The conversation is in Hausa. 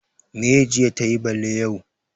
Meye jiya tayi bale yau?